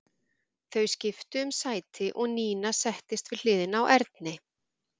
Þau skiptu um sæti og Nína settist við hliðina á Erni.